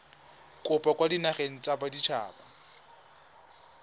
kopo kwa dinageng tsa baditshaba